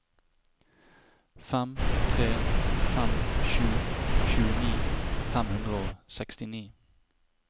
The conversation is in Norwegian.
fem tre fem sju tjueni fem hundre og sekstini